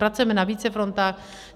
Pracujeme na více frontách.